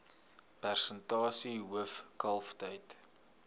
persentasie hoof kalftyd